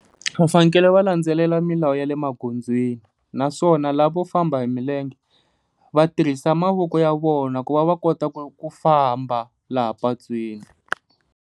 Va fanekele va landzelela milawu ya le magondzweni, naswona lava vo famba hi milenge va tirhisa mavoko ya vona ku va va kota ku famba laha patwini.